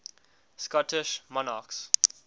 scottish monarchs